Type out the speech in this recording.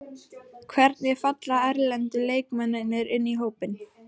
Hvernig falla erlendu leikmennirnir inn í hópinn?